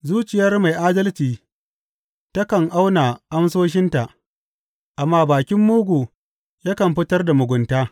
Zuciyar mai adalci takan auna amsoshinta, amma bakin mugu yakan fitar da mugunta.